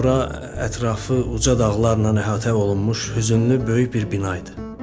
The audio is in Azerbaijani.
Bura ətrafı uca dağlarla əhatə olunmuş hüzünlü böyük bir bina idi.